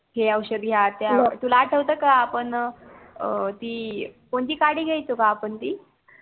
हे औषध घ्या ते औषध घ्या तुला आटवत का अं आपण ती कोणती काडी घायचो ग ती